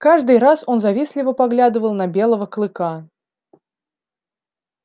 каждый раз он завистливо поглядывал на белого клыка